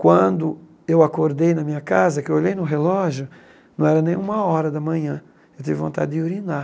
Quando eu acordei na minha casa, que eu olhei no relógio, não era nem uma hora da manhã, eu tive vontade de urinar.